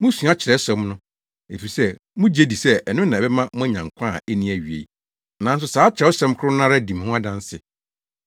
Musua Kyerɛwsɛm no, efisɛ mugye di sɛ ɛno na ɛbɛma moanya nkwa a enni awiei. Nanso saa Kyerɛwsɛm koro no ara di me ho adanse!